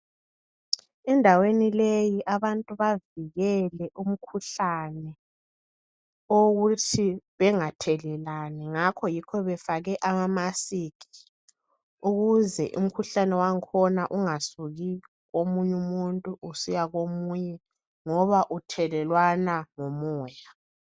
Endaweni leyi abantu bazivikele kumkhuhlane wokuthi bengathelelani. Ngakho yikho befake amamasiki ukuze umkhuhlane wangakhona ungasuki komunye umuntu usiya komunye ngoba uthelelwana ngomoya.